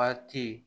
Waati